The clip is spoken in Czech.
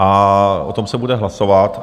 A o tom se bude hlasovat.